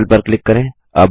circle पर click करें